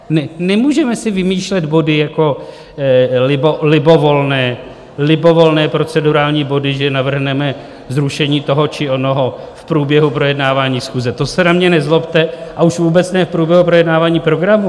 Nemůžeme si vymýšlet body jako libovolné procedurální body, že navrhneme zrušení toho či onoho v průběhu projednávání schůze, to se na mě nezlobte, a už vůbec ne v průběhu projednávání programu.